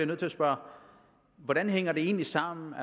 nødt til at spørge hvordan hænger det egentlig sammen